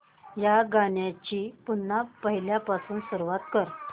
या गाण्या ची पुन्हा पहिल्यापासून सुरुवात कर